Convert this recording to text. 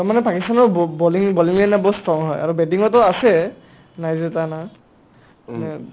দম মানে পাকিস্তানৰ ব্ব bowling bowling য়ে না বহুত strong হয় আৰু batting ও আছে নাই যে টানা